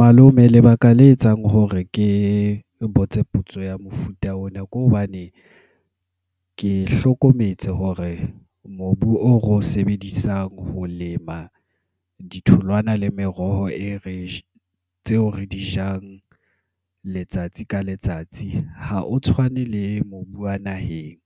Malome lebaka le etsang hore ke botse potso ya mofuta ona, ke hobane ke hlokometse hore mobu o sebedisang ho lema ditholwana le meroho e re tseo re di jang letsatsi ka letsatsi ha o tshwane le mobu wa naheng,